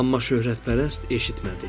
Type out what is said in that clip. Amma şöhrətpərəst eşitmədi.